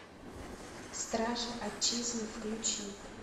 стражи отчизны включи